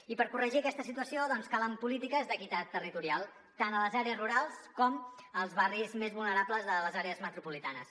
i per corregir aquesta situació calen polítiques d’equitat territorial tant a les àrees rurals com als barris més vulnerables de les àrees metropolitanes